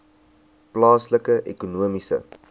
plaaslike ekonomiese